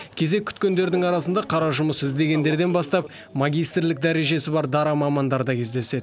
кезек күткендердің арасында қара жұмыс іздегендерден бастап магистрлік дәрежесі бар дара мамандар да кездеседі